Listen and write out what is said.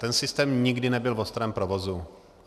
Ten systém nikdy nebyl v ostrém provozu.